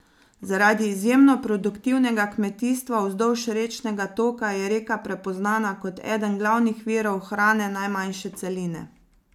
Zaradi izjemno produktivnega kmetijstva vzdolž rečnega toka je reka prepoznana kot eden glavnih virov hrane najmanjše celine.